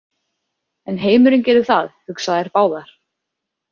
En heimurinn gerir það, hugsa þær báðar.